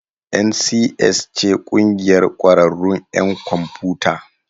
NCS ce ƙungiyar ƙwararrun 'yan kwamfiyuta.